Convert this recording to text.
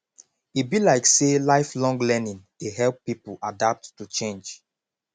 e be like sey lifelong learning dey help pipo adapt to change